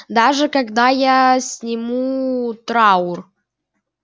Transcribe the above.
даже когда я сниму траур